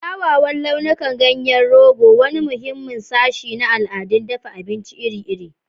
Kyawawan launukan ganyen rogo, wani muhimmin sashi na al'adun dafa abinci iri-iri.